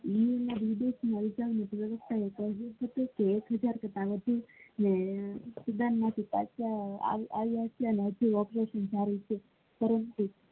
student ના નાગરિક એકહજાર કરતા વધી ને પાંચ આવિયા છે અને હજુ પ્રક્રિયા ચાલુ છે.